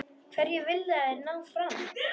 Hverju vilja þeir ná fram?